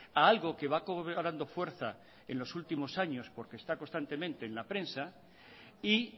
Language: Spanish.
a algo que va cobrando fuerza en los últimos años porque está constantemente en la prensa y